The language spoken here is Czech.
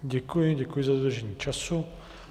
Děkuji, děkuji za dodržení času.